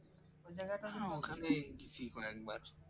গেছি কয়েকবার